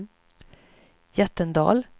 Jättendal